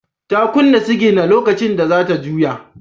Ta kunna sigina lokacin da za ta juya.